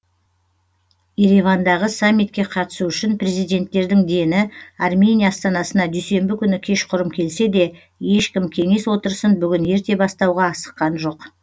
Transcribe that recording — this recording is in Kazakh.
еревандағы саммитке қатысу үшін президенттердің дені армения астанасына дүйсенбі күні кешқұрым келсе де ешкім кеңес отырысын бүгін ерте бастауға асыққан жоқ